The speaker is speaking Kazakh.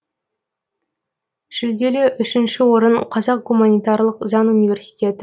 жүлделі үшінші орын қазақ гуманитарлық заң университеті